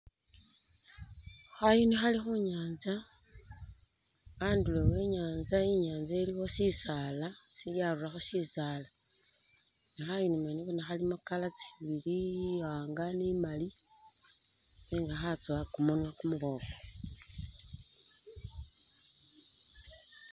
Khayuni khali khu nyaatsa andulo e i"nyaatsa, inyaantsa iliwo shisaala si yarulakho shisaala ne khayuni mwene bona khalimo tsicolor tsibili tsi-iwaanga ni imali nenga khatsowa kumunwa kumuboofu.